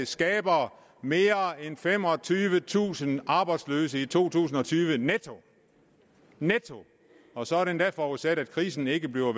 skaber mere end femogtyvetusind arbejdsløse i to tusind og tyve netto og så er det endda forudsat at krisen ikke bliver